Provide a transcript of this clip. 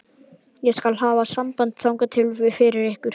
Ég skal hafa samband þangað fyrir ykkur.